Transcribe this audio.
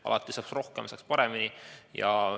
Alati saaks rohkem ja saaks paremini.